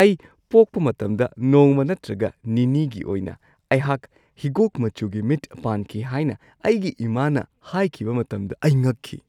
ꯑꯩ ꯄꯣꯛꯄ ꯃꯇꯝꯗ ꯅꯣꯡꯃ ꯅꯠꯇ꯭ꯔꯒ ꯅꯤꯅꯤꯒꯤ ꯑꯣꯏꯅ ꯑꯩꯍꯥꯛ ꯍꯤꯒꯣꯛ ꯃꯆꯨꯒꯤ ꯃꯤꯠ ꯄꯥꯟꯈꯤ ꯍꯥꯏꯅ ꯑꯩꯒꯤ ꯏꯃꯥꯅ ꯍꯥꯏꯈꯤꯕ ꯃꯇꯝꯗ ꯑꯩ ꯉꯛꯈꯤ꯫